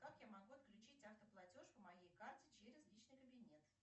как я могу отключить автоплатеж по моей карте через личный кабинет